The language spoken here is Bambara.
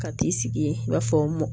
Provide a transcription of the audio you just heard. Ka t'i sigi i b'a fɔ mɔ